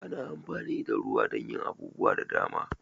Ana amfani da ruwa don yin abubuwa da dama.